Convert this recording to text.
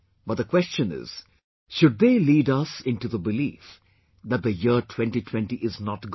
but the question is should they lead us into the belief that the year 2020 is not good